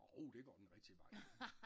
Jo det går den rigtige vej